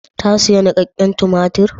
Ta sayi nikakken tumatir?